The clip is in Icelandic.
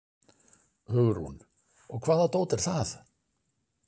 Hugrún: Og hvaða dót er það?